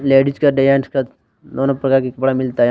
ladies का दोनो प्रकार के कपड़ा मिलता यहा--